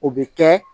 O bɛ kɛ